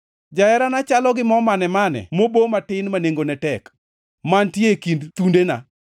Jaherana chalona gi mo mane-mane mobo matin ma nengone tek, mantie e kind thundena.